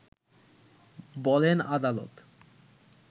বলেন আদালত